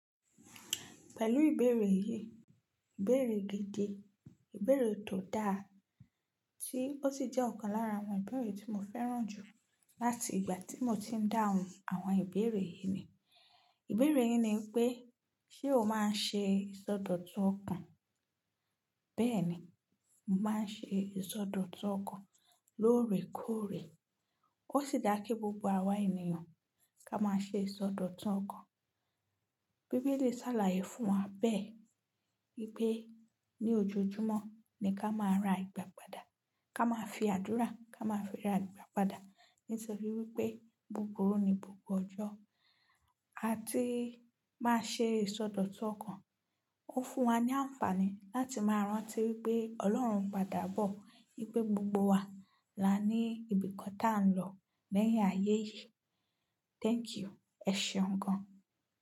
Pẹ̀lú ìbéèrè yìí, ìbéèrè gidi, ìbéèrè tó dáa tí ó sì jẹ́ ọ̀kan lára àwọn ìbéèrè tí mo fẹ́ràn jù láti ìgbà tí mo ti ń dáhùn àwọn ìbéèrè yìí ni. Ìbéèrè yìí ni pé, ṣe o máa ń ṣe ìsọdọ̀tun ọkàn? Bẹ́ẹ̀ni, mo máa ń ṣe ìsọdọ̀tun ọkàn lóòrèkóòrè. Ó sì dá kí gbogbo àwa ènìyàn kó máa ṣe ìsọdọ̀tun ọkàn. Bíbélì sàlàyé fún wa bẹ́ẹ̀ wípé ní ojoojúmọ́ ni ká máa ra ìgbà padà, ká máa fi àdúrà, ká máa fi ra ìgbà padà nítorí wípé búburí ni gbogbo ọjọ́. A ti máa ṣe ìsọdọ̀tun ọkàn, ó fún wa ní àǹfààní láti máa rántí wípé Ọlọ́run n padà bọ̀, wípé gbogbo wa là ní ibìkan tá a ń lọ lẹ́yìn ayé yìí. Thank you. Ẹ ṣeun gan.